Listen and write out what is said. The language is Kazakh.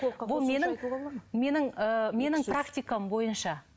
бұл менің менің ыыы менің практикам бойынша